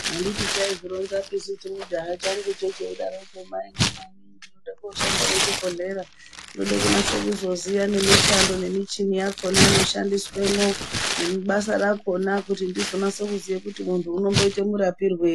Handiti chaizvironzapisu chimujaya changucho cheidaroko maina nai ndinode kooshande muzvibhohlera. Ndinode kunase kuzoziya nemishando nemichini yakona inoshandiswemwo nebasa rakona kuti ndizonaso kuziye kuti muntu unomboite murapirwei.